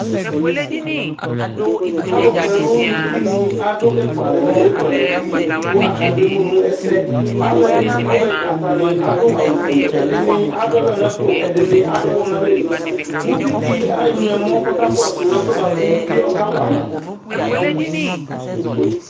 ɔlụpõ ɛlụɲụtiɲi ɑɗụ ɛkụɑlẽ ɲụ ɛƙụɑlɛdiɲi ɑkɑɗuɛmụɲɛsɛ ɑlụɛ ɑtaṅi ɑdụɑwũfụɛ ɛɗiṅi ɑɗụwɔ ɲɑlẽli ũviɗi ɑŋụɛmõ kɔkɑkọsụ ɛkuɛ kụviɛ õkɑwɑmɑ